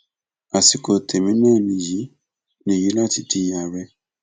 àsìkò tẹmí náà nìyí nìyí láti di àárẹ